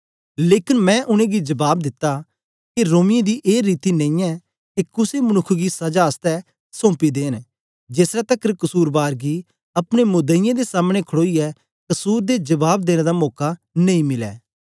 लेकन मैं उनेंगी जबाब दिता के रोमियें दी ए रीति नेईयैं के कुसे मनुक्ख गी सजा आसतै सौपी देंन जेसलै तकर कसुरबार गी अपने मुदईयें दे सामने खड़ोईयै कसुर दे जबाब देने दा मौका नेई मिलै